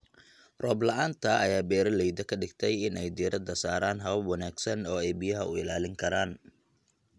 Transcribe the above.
Roob la'aanta ayaa beeralayda ka dhigtay in ay diiradda saaraan habab wanaagsan oo ay biyaha u ilaalin karaan.